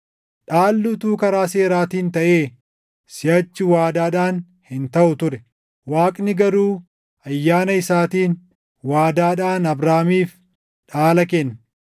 Dhaalli utuu karaa seeraatiin taʼee siʼachi waadaadhaan hin taʼu ture; Waaqni garuu ayyaana isaatiin waadaadhaan Abrahaamiif dhaala kenne.